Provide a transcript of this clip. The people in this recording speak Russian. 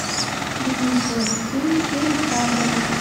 денису алексеевичу александрову